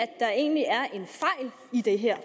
det her